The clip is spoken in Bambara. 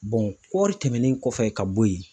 kɔɔri tɛmɛnen kɔfɛ ka bo yen.